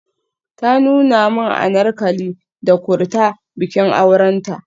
Ta nuna min Anarkali da Kurta bikin aurenta.